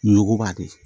Nuguba de